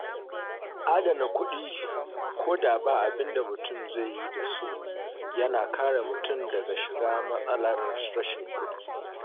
Adana kuɗi ko da ba abin da mutum zai yi da su yana kare mutum daga shiga matsalar rashin kuɗi